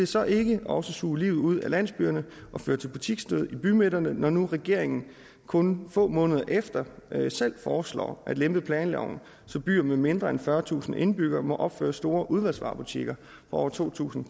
så ikke også suge livet ud af landsbyerne og føre til butiksdød i bymidterne når nu regeringen kun få måneder efter selv foreslår at lempe planloven så byer med mindre end fyrretusind indbyggere må opføre store udvalgsvarebutikker på over to tusind